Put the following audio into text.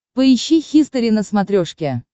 поищи хистори на смотрешке